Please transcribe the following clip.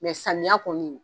Mɛ samiya kɔni